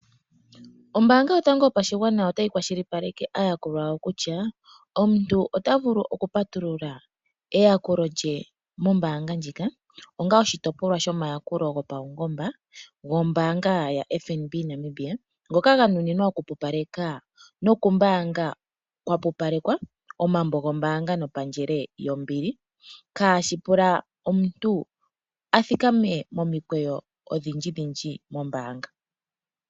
Ombaanga yotango yopashigwana otayi kwashilipaleke aayakulwa yawo kutya, omuntu ota vulu oku patulula eyakulo lye mombaanga ndjika, onga oshitopolwa shomayakulo gopaungomba gombaanga yaFNB Namibia, ngoka ga nuninwa oku pupaleka nokumbaanga kwa pupalekwa omambo gomombaanga nopandjele yombili, kaashi pule omuntu a thikame momikweyo odhindji dhindji mombaanga.